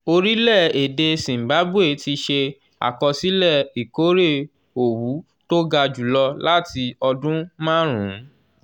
orílẹ̀-èdè zimbabwe ti ṣe àkọsílẹ̀ ìkórè owu tó ga jùlọ láti ọdún márùn-ún